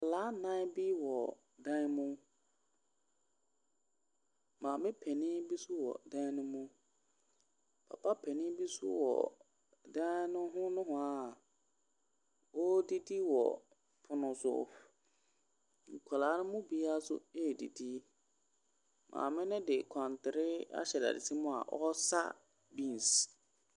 Nkwadaa nnan bi wɔ dan mu. Maame panin bi nso wɔ dan no mu. Papa panin bi nso wɔ dan no ho nohoa a ɔredidi wɔ pono so. Nkwadaa no mu biara nso redidi. Maame no de nkwantere ahyɛ dadesɛn mu a ɔresa beans.